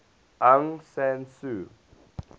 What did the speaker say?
aung san suu